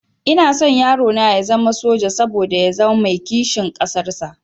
Ina son yarona ya zama soja, saboda ya zama mai kishin ƙasar shi